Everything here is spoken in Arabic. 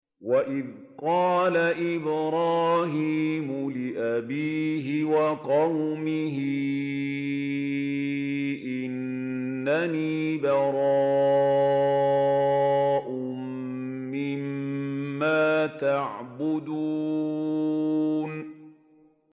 وَإِذْ قَالَ إِبْرَاهِيمُ لِأَبِيهِ وَقَوْمِهِ إِنَّنِي بَرَاءٌ مِّمَّا تَعْبُدُونَ